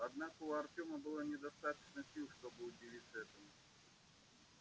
однако у артёма было недостаточно сил чтобы удивиться этому